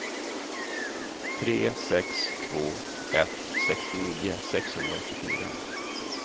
tre sex två ett sextionio sexhundraåttiofyra